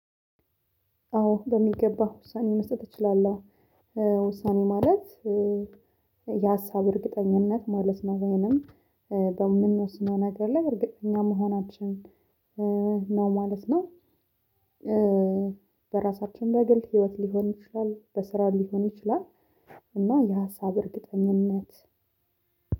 አዎ በሚገባ ውሳኔ መስጠት እችላለሁ። ውሳኔ ማለት የሀሳብ እርግጠኝነት ማለት ነው ወይንም በምንወስነው ነገር ላይ እርግጠኛ መሆናችን ነው ማለት ነው። በራሳችን በግል ህይወት ሊሆን ይችላል በስራ ሊሆን ይችላል። እና የሀሳብ እርግጠኝነት